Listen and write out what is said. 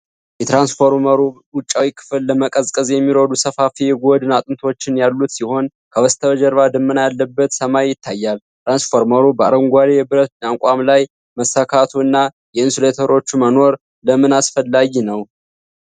የትራንስፎርመሩ ውጫዊ ክፍል ለመቀዝቀዝ የሚረዱ ሰፋፊ የጎድን አጥንቶች ያሉት ሲሆን፣ ከበስተጀርባ ደመና ያለበት ሰማይ ይታያል። ትራንስፎርመሩ በአረንጓዴ የብረት አቋም ላይ መሰካቱ እና የኢንሱሌተሮቹ መኖር ለምን አስፈላጊ ነው?